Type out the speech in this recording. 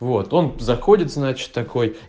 вот он заходит значит такой